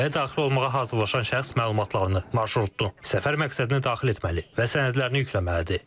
Ölkəyə daxil olmağa hazırlaşan şəxs məlumatlarını, marşrutdur, səfər məqsədini daxil etməli və sənədlərini yükləməlidir.